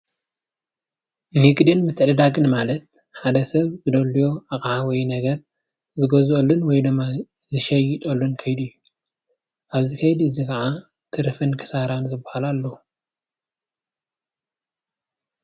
ንግድን ምትዕድዳግን ማለት ሓደ ሰብ ዘድልዮ ኣቕሓ ወይ ነገር ዝገዝአሉን ወይድማ ዝሸጠሉ ከይዲ እዩ። ኣብዚ ከይዲ እዚ ከዓ ትርፍን ክሳራን ዝበሃሉ ኣለዉ።